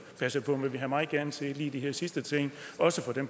passe på men vi havde meget gerne set at lige de her sidste ting også